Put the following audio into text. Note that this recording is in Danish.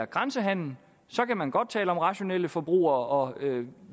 grænsehandel kan man godt tale om rationelle forbrugere og om